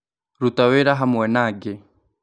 Ruta wĩra hamwe na angĩ.